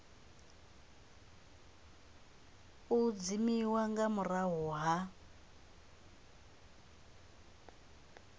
u dzimiwa nga murahu ha